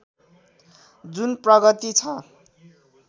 जुन प्रगति छ